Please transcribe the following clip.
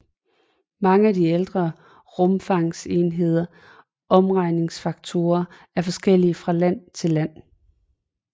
Mange af de ældre rumfangenheders omregningsfaktorer er forskellige fra land til land